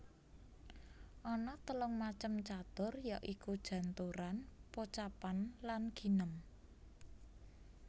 Ana telung macem catur ya iku janturan pocapan lan ginem